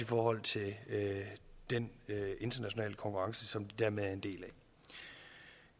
forhold til den internationale konkurrence som de dermed er en del af